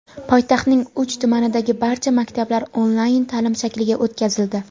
Poytaxtning uch tumanidagi barcha maktablar onlayn ta’lim shakliga o‘tkazildi.